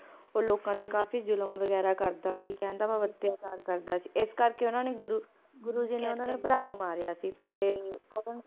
ਓ ਲੋਕਾਂ ਤੇ ਕਾਫੀ ਜ਼ੁਲਮ ਵਗੈਰਾ ਕਰਦਾ ਸੀ ਕਹਿਣ ਦਾ ਭਾਵ ਅਤਯਾਚਾਰ ਕਰਦਾ ਸੀ ਇਸ ਕਰਕੇ ਓਹਨਾ ਨੇ ਗੁਰੂ ਗੁਰੂ ਜੀ ਨੇ ਓਹਨਾ ਦੇ ਭਰਾ ਨੂੰ ਮਾਰਿਆ ਸੀ ਤੇ ਉਹ